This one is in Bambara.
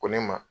Ko ne ma